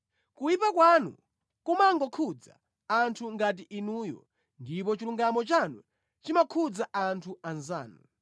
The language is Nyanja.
Kuyipa kwanu kumangokhudza anthu ngati inuyo, ndipo chilungamo chanu chimakhudza anthu anzanu.